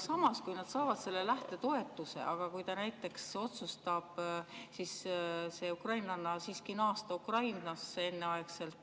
Samas, kui ukrainlanna saab selle lähtetoetuse, aga ta näiteks otsustab siiski enneaegselt naasta Ukrainasse, siis